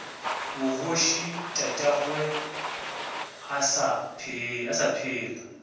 bogoši tatagwe a sa phela